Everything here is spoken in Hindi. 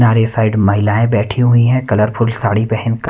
नारे साइड महिलाएं बैठी हुई हैं कलरफुल साड़ी पहन कर --